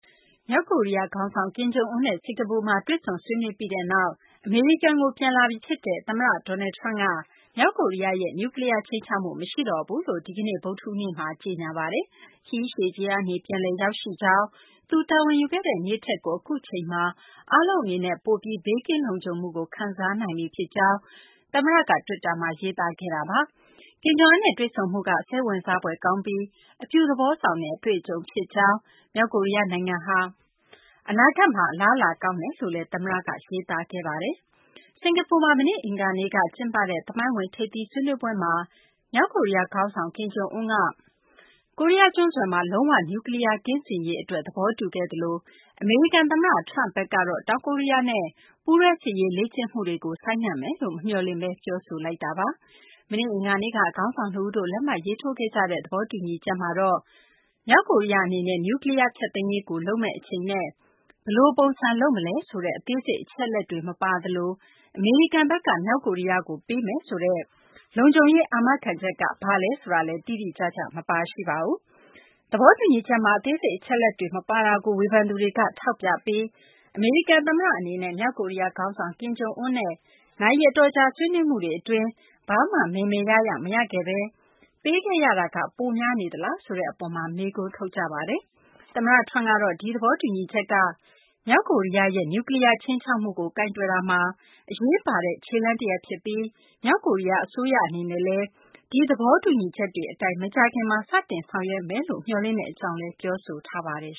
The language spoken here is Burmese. မြောက်ကိုရီးယား ခေါင်းဆောင် ကင်ဂျုံအွန်းနဲ့ စကာၤပူမှာ တွေ့ဆုံဆွေးနွေးပြီးနောက် အမေရိကန်ကို ပြန်လာပြီ ဖြစ်တဲ့ အမေရိကန် သမ္မတ Donald Trump က မြောက်ကိုရီးယားရဲ့နျူးကလီးယား ခြိမ်းခြောက်မှု မရှိတော့ဘူးလို့ ဒီကနေ့ ဗုဒ္ဓဟူးနေ့မှာ ကြေညာပါတယ်။ ခရီးရှည်ကြီးကနေ ပြန်လည်ရောက်ရှိကြောင်း၊ သူတာဝန်ယူခဲ့တဲ့နေ့ထက်ကို အခုအချိန်မှာ အားလုံးအနေနဲ့ ပိုပြီး ဘေးကင်းလုံခြုံမှုကို ခံစားနိုင်ပြီ ဖြစ်ကြောင်း သမ္မတက တွစ်တာမှာ ရေးသားခဲ့တာပါ။ ကင်ဂျုံအွန်းနဲ့ တွေ့ဆုံမှုက စိတ်ဝင်စားဖွယ်ကောင်းပြီး အပြုသဘော ဆောင်တဲ့ အတွေ့အကြုံဖြစ်ကြောင်း၊ မြောက်ကိုရီးယားနိုင်ငံဟာ အနာဂတ်မှာ အလားအလာကောင်းတယ်လို့လည်း သမ္မတက ရေးသားခဲ့ပါတယ်။ စကာၤပူမှာ မနေ့ အင်္ဂါနေ့က ကျင်းပခဲ့တဲ့ သမိုင်းဝင် ထိပ်သီးဆွေးနွေးပွဲမှာ မြောက်ကိုရီးယား ခေါင်းဆောင် ကင်ဂျုံအွန်းက ကိုရီးယား ကျွန်းဆွယ်မှာ လုံး၀ နျူးကလီးယား ကင်းစင်ရေး အတွက် သဘောတူခဲ့သလို အမေရိကန် သမ္မတ Trump ဘက်ကတော့ တောင်ကိုရီးယားနဲ့ ပူးတွဲ စစ်ရေးလေ့ကျင့်မှုတွေကို ဆိုင်းငံ့မယ်လို့ မမျှော်လင့်ဘဲ ပြောဆိုလိုက်ပါတယ်။ မနေ့ အင်္ဂါနေ့က ခေါင်းဆောင် နှစ်ဦးတို့ လက်မှတ်ရေးထိုးခဲ့ကြတဲ့ သဘောတူညီချက်မှာတော့ မြောက်ကိုရီးယား အနေနဲ့ နျူကလီးယား ဖျက်သိမ်းရေးကို လုပ်မယ့် အချိန်နဲ့ ဘယ်လို ပုံစံ လုပ်မလဲ ဆိုတဲ့ အသေးစိတ် အချက်အလက်တွေတော့ မပါသလို အမေရိကန်ဘက်က မြောက်ကိုရီးယားကို ပေးမယ်ဆိုတဲ့ လုံခြုံရေး အာမခံချက်က ဘာလဲ ဆိုတာလည်း တိတိကျကျ မပါရှိပါဘူး။ သဘောတူညီချက်မှာ အသေးစိတ် အချက်အလက်တွေ မပါတာကို ဝေဖန်သူတွေက ထောက်ပြပြီး အမေရိကန် သမ္မတ အနေနဲ့ မြောက်ကိုရီးယား ခေါင်းဆောင် ကင်ဂျုံအွန်းနဲ့ နာရီအတော်အကြာ ဆွေးနွေးမှုတွေ အတွင်း ဘာမှ မယ်မယ်ရရ မရခဲ့ဘဲ ပေးခဲ့ရတာက ပိုများနေသလားဆိုတဲ့ အပေါ် မေးခွန်းထုတ်ကြပါတယ်။ သမ္မတ Trump ကတော့ ဒီသဘောတူညီချက်က မြောက်ကိုရီးယားရဲ့ နျူးကလီးယား ခြိမ်းခြောက်မှုကို ကိုင်တွယ်တာမှာ အရေးပါတဲ့ ခြေလှမ်းတရပ် ဖြစ်ပြီး မြောက်ကိုရီးယား အစိုးရ အနေနဲ့လည်း ဒီသဘောတူညီချက်တွေ အတိုင်း မကြာခင်မှာ စတင်ဆောင်ရွက်ဖို့ မျှော်လင့်ကြောင်းလည်း ပြောဆိုခဲ့ပါတယ်